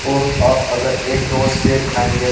और आप अगर एक रोज सेब खायेंगे --